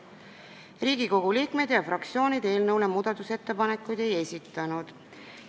Riigikogu liikmed ja fraktsioonid eelnõu kohta muudatusettepanekuid ei esitanud.